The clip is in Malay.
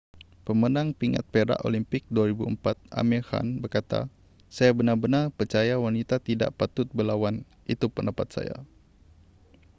pemenang pingat perak olimpik 2004 amir khan berkata saya benar-benar percaya wanita tidak patut berlawan itu pendapat saya